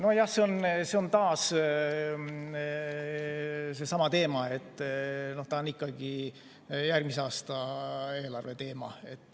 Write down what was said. Nojah, see on taas seesama teema, see on ikkagi järgmise aasta eelarve teema.